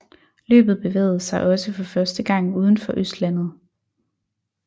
Løbet bevægede sig også for første gang udenfor Østlandet